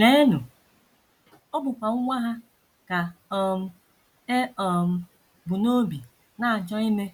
Leenụ, ọ bụ nwa ha ka um e um bu n’obi na - achọ ime